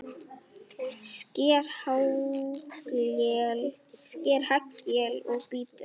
Sker haglél og bítur.